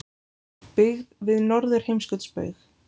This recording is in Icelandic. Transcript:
Byggð við Norðurheimskautsbaug.